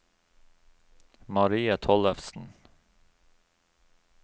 Marie Tollefsen